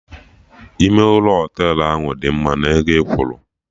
Ime ụlọ Họtelụ ahụ adị mma na ego ị kwuru?